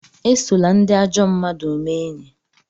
Esola ndị ajọ mmmadụ mee enyi!